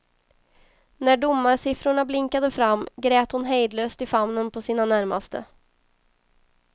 När domarsiffrorna blinkade fram grät hon hejdlöst i famnen på sina närmaste.